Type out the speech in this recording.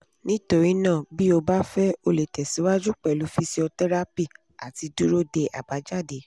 nítorí náà bí o bá fẹ́ o lè tẹ̀síwájú pẹ̀lú fíṣíọ́tẹ́rápì àti dúró de àbájáde